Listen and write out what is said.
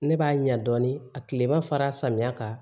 Ne b'a ɲɛ dɔɔnin a tilema fara samiyɛ kan